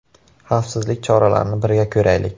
Xavfsizlik choralarini birga ko‘raylik.